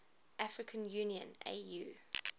african union au